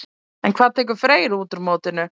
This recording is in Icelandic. En hvað tekur Freyr út úr mótinu?